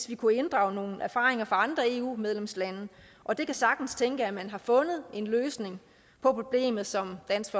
vi kunne inddrage nogle erfaringer fra andre eu medlemslande og det kan sagtens tænkes at man har fundet en løsning på problemet som dansk